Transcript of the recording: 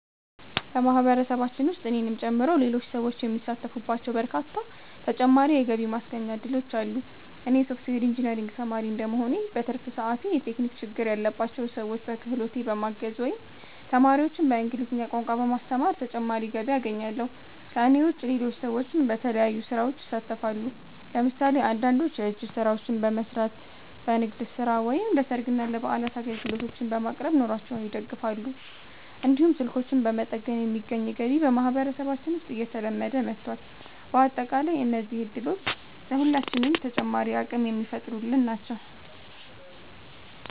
በማህበረሰባችን ውስጥ እኔንም ጨምሮ ሌሎች ሰዎች የሚሳተፉባቸው በርካታ ተጨማሪ የገቢ ማስገኛ እድሎች አሉ። እኔ የሶፍትዌር ኢንጂነሪንግ ተማሪ እንደመሆኔ፣ በትርፍ ሰዓቴ የቴክኒክ ችግር ያለባቸውን ሰዎች በክህሎቴ በማገዝ ወይም ተማሪዎችን በእንግሊዝኛ ቋንቋ በማስተማር ተጨማሪ ገቢ አገኛለሁ። ከእኔ ውጭ ሌሎች ሰዎችም በተለያዩ ስራዎች ይሳተፋሉ። ለምሳሌ አንዳንዶች የእጅ ስራዎችን በመስራት፣ በንግድ ስራ ወይም ለሰርግና ለበዓላት አገልግሎቶችን በማቅረብ ኑሯቸውን ይደግፋሉ። እንዲሁም ስልኮችን በመጠገን የሚገኝ ገቢ በማህበረሰባችን ውስጥ እየተለመደ መጥቷል። በአጠቃላይ እነዚህ እድሎች ለሁላችንም ተጨማሪ አቅም የሚፈጥሩልን ናቸው።